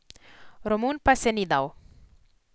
Romun pa se ni dal.